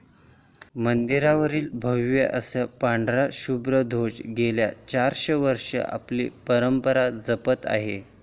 मंदिरावरील भव्य असा पांढरा शुभ्र ध्वज गेली चारशे वर्ष आपली परंपरा जपत आहे.